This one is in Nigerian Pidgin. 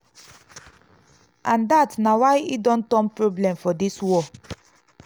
and dat na why e don turn problem for dis war.